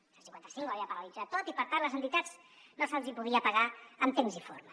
el cent i cinquanta cinc ho havia paralitzat tot i per tant a les entitats no se’ls hi podia pagar en temps i forma